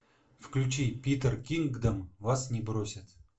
включи питер кингдом вас не бросит